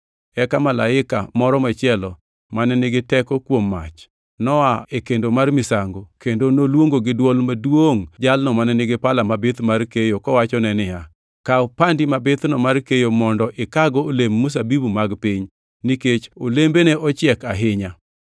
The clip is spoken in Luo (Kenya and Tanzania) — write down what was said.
Eka malaika moro machielo, mane nigi teko kuom mach, noa e kar kendo mar misango kendo noluongo gi dwol maduongʼ jalno mane nigi pala mabith mar keyo kowachone niya, “Kaw pandi mabithno mar keyo mondo ikago olemb mzabibu mag piny, nikech olembene ochiek ahinya!”